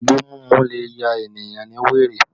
Igbo mímú le ya ènìyàn ní wèrè